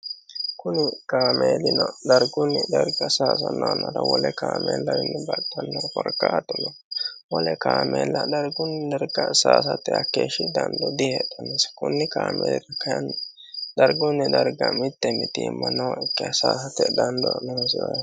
Kuni kaameelino dargunni darga sayano yannarano wole kaameellawino baxxano korkaatuno wole kaameella dargunni darga saysate hakeeshsha dando diheedhanose kuni kaameeli kayinni dargunni darga mite mitimma nooyikkiha .